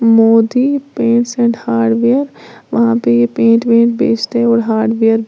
Modi paints and hardware वहां पे ये पेंट वेंट बेचते और हार्डवेयर --